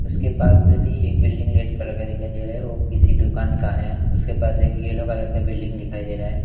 उसके पास में भी एक बिल्डिंग रेड कलर का दिखाई दे रहा है वो किसी दुकान का है उसके पास एक येलो कलर का बिल्डिंग दिखाई दे रहा है --